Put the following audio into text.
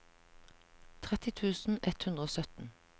tretti tusen ett hundre og sytten